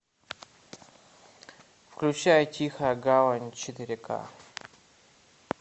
включай тихая гавань четыре к